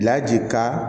Laji ka